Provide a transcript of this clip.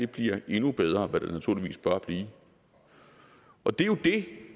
bliver endnu bedre hvad det naturligvis bør blive og det er jo det